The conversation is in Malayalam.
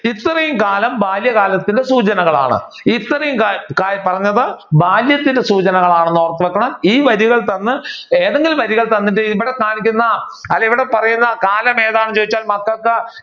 ഇത്രയും കാലം ബാല്യകാലത്തിന്റെ സൂചനകളാണ്. ഇത്രയും പറഞ്ഞത് ബാല്യത്തിന്റെ സൂചനകളാണെന്ന് ഓർത്തുവെക്കണം. ഈ വഴികൾ തന്ന് ഏതെങ്കിലും വഴികൾ തന്നിട്ട് ഇവിടെ കാണിക്കുന്ന അല്ലെങ്കിൽ ഇവിടെ പറയുന്ന കാലമേതാണെന്ന് ചോതിച്ചാൽ മക്കൾക്ക്